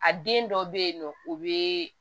A den dɔ be yen nɔ o be